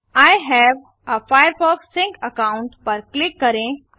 I have a Firefox sync account पर click करें